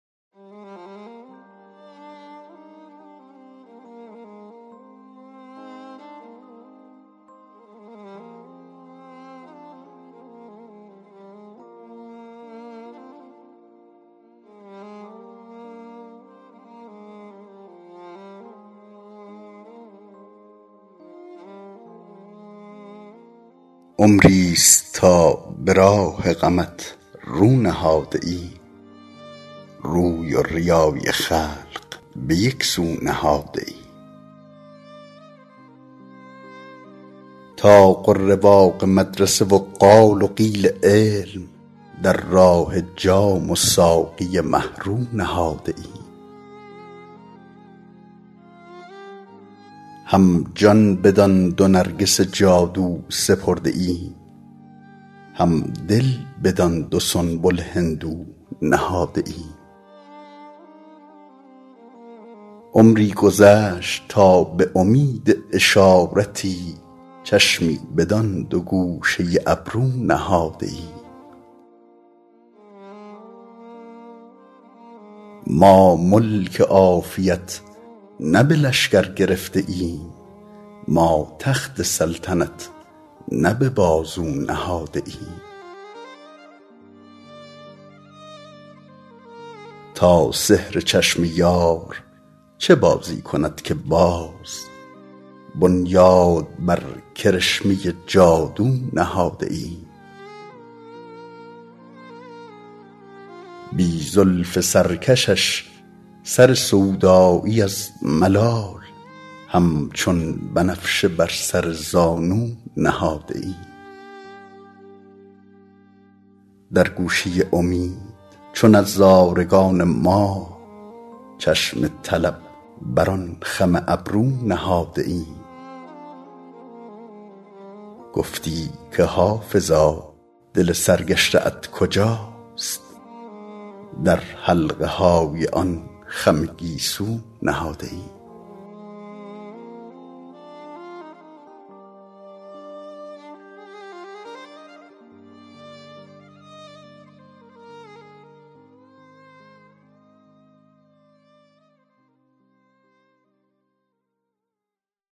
عمریست تا به راه غمت رو نهاده ایم روی و ریای خلق به یک سو نهاده ایم طاق و رواق مدرسه و قال و قیل علم در راه جام و ساقی مه رو نهاده ایم هم جان بدان دو نرگس جادو سپرده ایم هم دل بدان دو سنبل هندو نهاده ایم عمری گذشت تا به امید اشارتی چشمی بدان دو گوشه ابرو نهاده ایم ما ملک عافیت نه به لشکر گرفته ایم ما تخت سلطنت نه به بازو نهاده ایم تا سحر چشم یار چه بازی کند که باز بنیاد بر کرشمه جادو نهاده ایم بی زلف سرکشش سر سودایی از ملال همچون بنفشه بر سر زانو نهاده ایم در گوشه امید چو نظارگان ماه چشم طلب بر آن خم ابرو نهاده ایم گفتی که حافظا دل سرگشته ات کجاست در حلقه های آن خم گیسو نهاده ایم